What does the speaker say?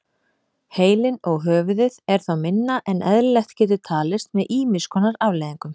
Heilinn og höfuðið er þá minna en eðlilegt getur talist með ýmis konar afleiðingum.